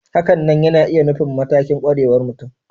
Hakanan yana iya nufin matakin ƙwarewar mutum